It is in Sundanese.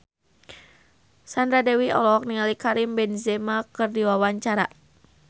Sandra Dewi olohok ningali Karim Benzema keur diwawancara